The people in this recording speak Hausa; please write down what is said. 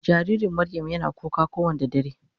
jaririn Mariam Yana kuka ko Wanda dare.